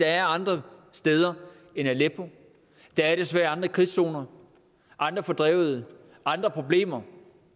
er andre steder end aleppo der er desværre andre krigszoner andre fordrevede andre problemer